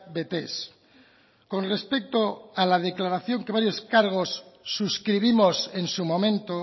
betez con respecto a la declaración que varios cargos suscribimos en su momento